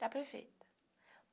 está perfeita.